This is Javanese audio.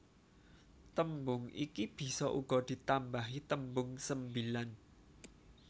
Tembung iki bisa uga ditambahi tembung sembilan